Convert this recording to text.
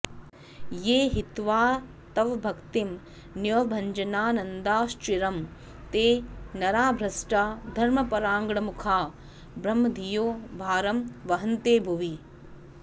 ये हित्वा तव भक्तिमन्यभजनानन्दाश्चिरं ते नरा भ्रष्टा घर्मपराङ्मुखा भ्रमधियो भारं वहन्ते भुवि